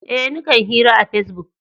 Eh, ni kan hira a pesbuk.